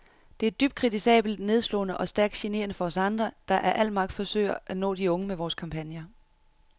Det er dybt kritisabelt, nedslående og stærkt generende for os andre, der af al magt forsøger at nå de unge med vore kampagner.